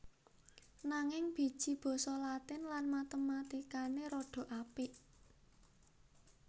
Nanging biji basa Latin lan Matematikane rada apik